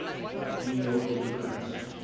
new york democrats